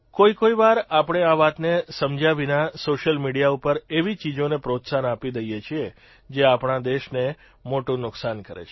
કોઇકોઇ વાર આપણે આ વાતને સમજયા વિના સોશિયલ મીડિયા ઉપર એવી ચીજોને પ્રોત્સાહન આપી દઇએ છીએ જે આપણા દેશને મોટું નુકસાન કરે છે